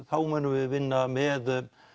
þá munum við vinna með